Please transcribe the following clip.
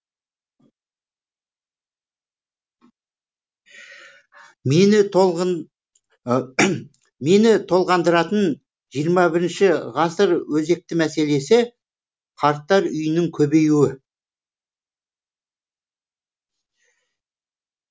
мені толғандыратын жиырма бірінші ғасыр өзекті мәселесі қарттар үйінің көбеюі